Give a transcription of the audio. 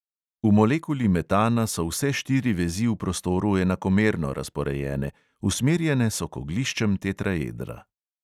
V molekuli metana so vse štiri vezi v prostoru enakomerno razporejene, usmerjene so k ogliščem tetraedra.